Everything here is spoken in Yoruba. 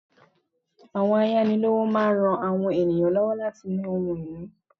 Àwọn ayánilówó máa n rán àwọn ènìyàn lọ́wọ́ láti ní ohun ìní